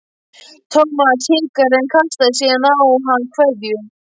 Thomas hikaði en kastaði síðan á hann kveðju.